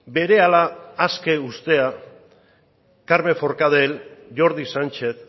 berehala aske uztea carme forcadel jordi sánchez